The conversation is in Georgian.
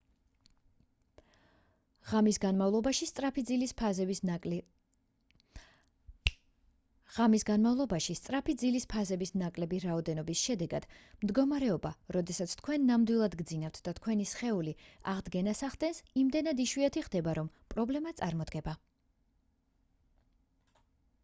ღამის განმავლობაში სწრაფი ძილის ფაზების ნაკლები რაოდენობის შედეგად მდგომარეობა როდესაც თქვენ ნამდვილად გძინავთ და თქვენი სხეული აღდგენას ახდენს იმდენად იშვიათი ხდება რომ პრობლემა წარმოდგება